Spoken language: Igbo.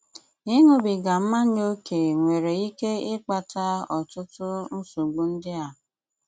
Íṅúbígá mmányá óké nwéré íké íkpátá ọtụtụ nsògbu ndị á: